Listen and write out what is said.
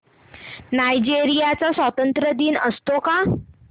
Nigeria चा स्वातंत्र्य दिन असतो का